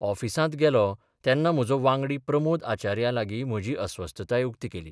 ऑफिसांत गेलों तेन्ना म्हजो वांगडी प्रमोद आचार्या लागीं म्हजी अस्वस्थताय उक्ती केली.